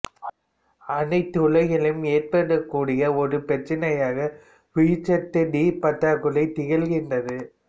அனைத்துலகிலும் ஏற்படக்கூடிய ஒரு பிரச்சனையாக உயிர்ச்சத்து டி பற்றாக்குறை திகழ்கின்றது